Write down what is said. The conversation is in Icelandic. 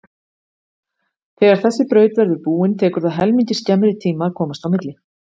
Þegar þessi braut verður búin tekur það helmingi skemmri tíma að komast á milli.